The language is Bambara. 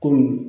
Kɔmi